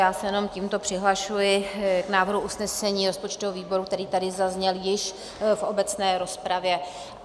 Já se jenom tímto přihlašuji k návrhu usnesení rozpočtového výboru, který tady zazněl již v obecné rozpravě.